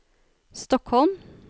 Stockholm